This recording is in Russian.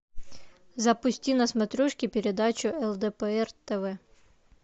запусти на смотрешке передачу лдпр тв